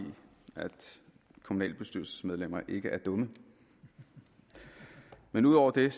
kommunalbestyrelsesmedlemmer ikke er dumme men ud over det